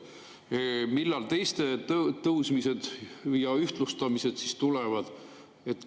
Millal teiste tõusmised ja ühtlustamised siis tulevad?